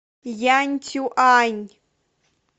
янцюань